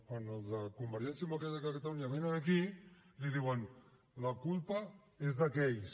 quan els de convergència democràtica de catalunya vénen aquí li diuen la culpa és d’aquells